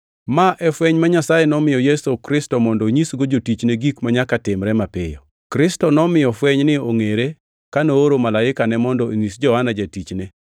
Ma e fweny ma Nyasaye nomiyo Yesu Kristo mondo onyisgo jotichne gik manyaka timre mapiyo. Kristo nomiyo fwenyni ongʼere ka nooro malaikane mondo onyis Johana jatichne.